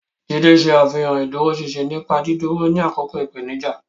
Jide ṣe àfihàn ìdúróṣinṣin nípa dídúró ní àkókò ìpèníjà.